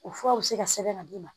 O fura bɛ se ka sɛbɛn ka d'i ma